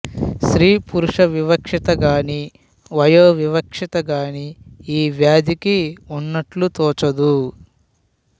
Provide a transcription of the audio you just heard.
స్త్రీ పురుష వివక్షత గాని వయో వివక్షత గాని ఈ వ్యాధికి ఉన్నట్లు తోచదు